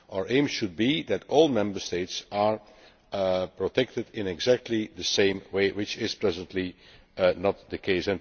Our aim should be that all Member States are protected in exactly the same way which is presently not the case.